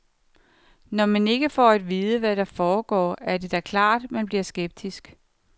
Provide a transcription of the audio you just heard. Når man ikke får at vide, hvad der foregår, er det da klart, man bliver skeptisk.